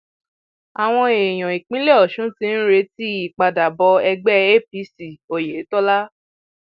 àwọn èèyàn ìpínlẹ ọsùn ti ń retí ìpadàbọ ẹgbẹ apc oyetola